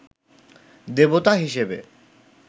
দেবতা হিসেবে